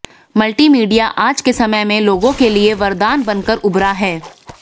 multimedia आज के समय में लोगों के लिए वरदान बनकर उभरा है